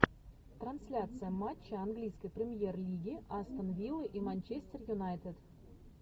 трансляция матча английской премьер лиги астон вилла и манчестер юнайтед